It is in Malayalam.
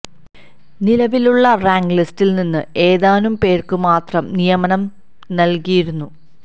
നിലവിലുള്ള റാങ്ക് ലിസ്റ്റില് നിന്ന് ഏതാനും പേര്ക്ക് മാത്രം നിയമനം നല്കിയിരുന്നു